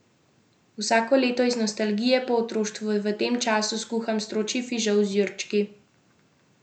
Vsako leto, iz nostalgije po otroštvu, v tem času skuham stročji fižol z jurčki.